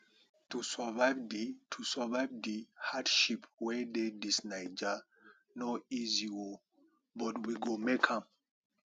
to survive di to survive di hardship wey dey dis naija no easy o but we go make am